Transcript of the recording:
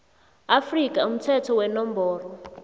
afrika umthetho wenomboro